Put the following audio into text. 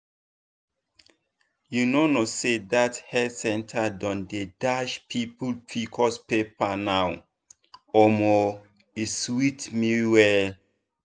you know know say that health center don dey dash people pcos paper now omo e sweet me well.